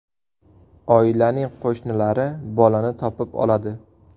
Oilaning qo‘shnilari bolani topib oladi.